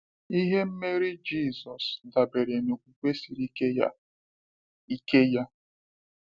Ihe mmeri Jisọshụ dabere n’okwukwe siri ike ya. ike ya.